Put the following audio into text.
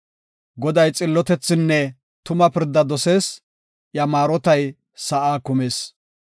Goday xillotethinne tuma pirda dosees; iya maarotay sa7aa kumis.